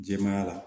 Jɛmanya la